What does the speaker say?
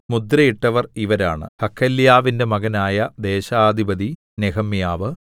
മുദ്രയിട്ടവർ ഇവരാണ് ഹഖല്യാവിന്റെ മകനായ ദേശാധിപതി നെഹെമ്യാവ്